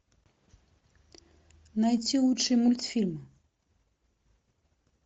найти лучший мультфильм